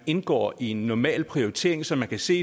indgår i en normal prioritering så man kan se